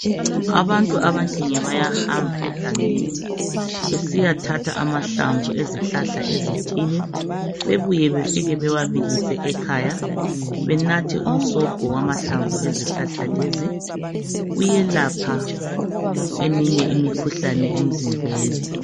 Abantu abanengi bayahamba egangeni besiya thatha amahlamvu ezihlahla ezithile bebuye befike bewabilise ekhaya benathe umsobho wamahlamvu ezihlahla lezi uyelapha eminye imikhuhlane emzimbeni.